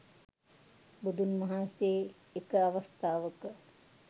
බුදුන් වහන්සේ එක අවස්ථාවක